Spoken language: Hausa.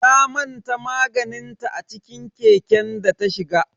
Ta manta maganinta a ciki keken data shiga.